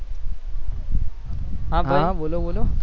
હા હા બોલો બોલો